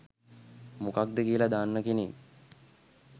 මොකක්ද කියල දන්න කෙනෙක්